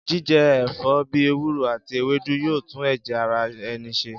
Jíje̩ è̩fó̩ bí ewúro àti ewédú yóò tún è̩jè̩ ara e̩ni s̩e